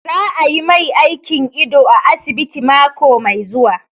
Za a yi mai aikin ido a asibiti mako mai zuwa